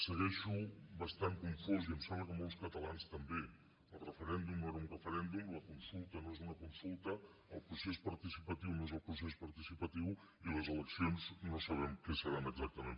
segueixo bastant confós i em sembla que molts catalans també el referèndum no era un referèndum la consulta no és una consulta el procés participatiu no és el procés participatiu i les eleccions no sabem què seran exactament